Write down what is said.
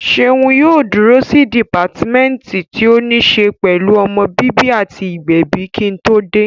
Ṣeun yóò dúró sí dìpátímẹ́ǹtì tí ó ní ṣe pẹ̀lú ọmọ bíbí àti ìgbẹ̀bi kí n tó dé